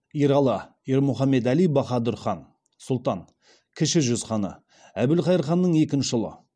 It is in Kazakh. ералы ермұхамедәли баһадүр хан сұлтан кіші жүз ханы әбілқайыр ханның екінші ұлы